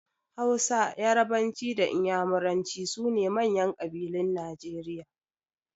Hausa, yarbanci da iyamuranci su ne manyan ƙabilun Najeriya